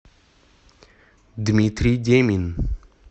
дмитрий демин